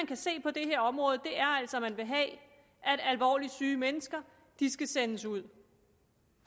kan se på det her område er altså at man vil have at alvorligt syge mennesker skal sendes ud